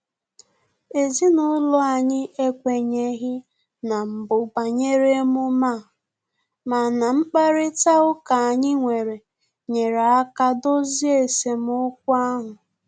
Ezinụlọ anyị ekwenyeghi na mbụ banyere emume a, mana mkparịta ụka anyị nwere nyere aka dozie esemokwu ahụ